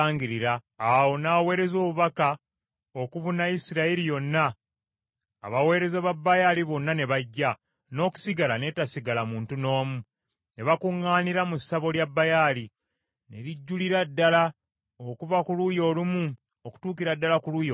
Awo n’aweereza obubaka okubuna Isirayiri yonna, abaweereza ba Baali bonna ne bajja, n’okusigala n’etasigala muntu n’omu. Ne bakuŋŋaanira mu ssabo lya Baali , ne lijjulira ddala okuva ku luuyi olumu okutuukira ddala ku luuyi olulala.